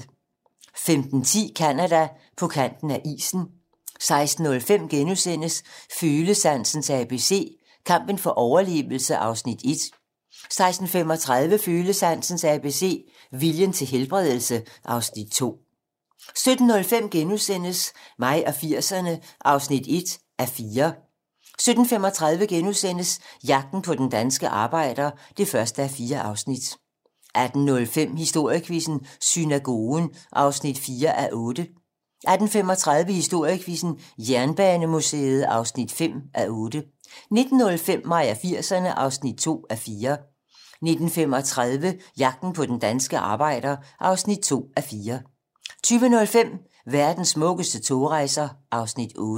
15:10: Canada: På kanten af isen 16:05: Følesansens ABC - Kampen for overlevelse (Afs. 1)* 16:35: Følesansens ABC - Vejen til helbredelse (Afs. 2) 17:05: Mig og 80'erne (1:4)* 17:35: Jagten på den danske arbejder (1:4)* 18:05: Historiequizzen: Synagogen (4:8) 18:35: Historiequizzen: Jernbanemuseet (5:8) 19:05: Mig og 80'erne (2:4) 19:35: Jagten på den danske arbejder (2:4) 20:05: Verdens smukkeste togrejser (Afs. 8)